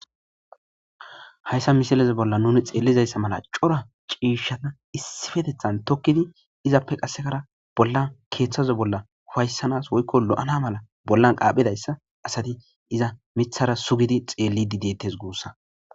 Hayssa misalez bolla nuni xeellizayssa mala cora ciishshata issifetethan tokkidi izappe qassekara bollan keeththazo bolla hufayssanas woykko lo'ana mala bollan qaaphidayssa asati iza mithara sugidi xeelli dideettes guussa.